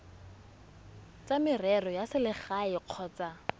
tsa merero ya selegae kgotsa